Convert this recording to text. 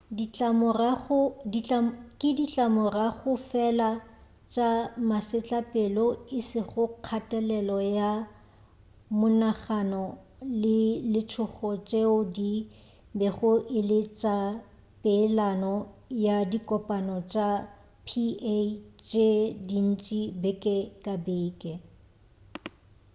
ke ditlamorago fela tša masetlapelo e sego kgatelelo ya monagano le letšhogo tšeo di bego e le tša peelano ya dikopano tša pa tše dintši beke ka beke